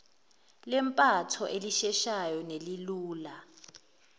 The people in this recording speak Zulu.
lempatho elisheshayo nelilula